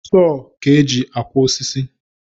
Soo ka eji akwa osisi